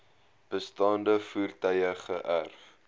bestaande voertuie geërf